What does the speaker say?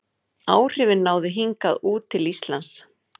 Áhrifin náðu hingað út til Íslands.